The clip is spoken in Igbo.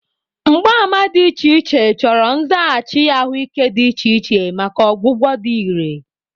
Mgbaàmà dị iche iche, chọrọ nzaghachi ahụike dị iche iche maka ọgwụgwọ dị irè.